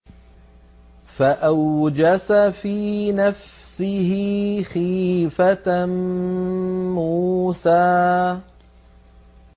فَأَوْجَسَ فِي نَفْسِهِ خِيفَةً مُّوسَىٰ